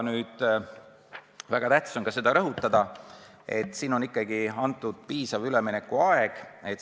Nüüd, väga tähtis on ka seda rõhutada, et siin on ikkagi antud piisav üleminekuaeg.